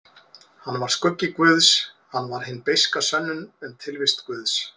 Hann var skuggi guðs, hann var hin beiska sönnun um tilvist guðs.